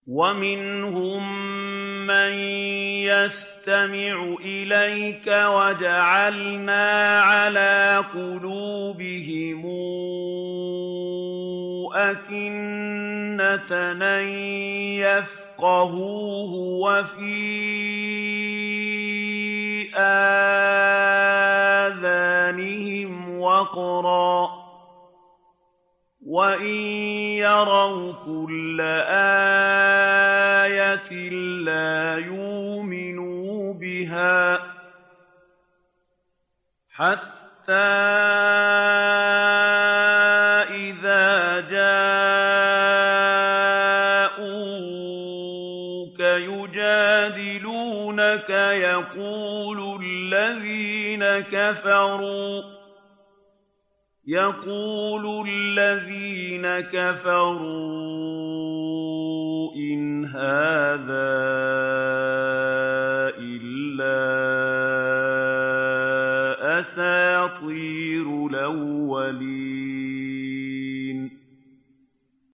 وَمِنْهُم مَّن يَسْتَمِعُ إِلَيْكَ ۖ وَجَعَلْنَا عَلَىٰ قُلُوبِهِمْ أَكِنَّةً أَن يَفْقَهُوهُ وَفِي آذَانِهِمْ وَقْرًا ۚ وَإِن يَرَوْا كُلَّ آيَةٍ لَّا يُؤْمِنُوا بِهَا ۚ حَتَّىٰ إِذَا جَاءُوكَ يُجَادِلُونَكَ يَقُولُ الَّذِينَ كَفَرُوا إِنْ هَٰذَا إِلَّا أَسَاطِيرُ الْأَوَّلِينَ